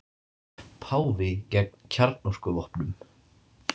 Páfi gegn kjarnorkuvopnum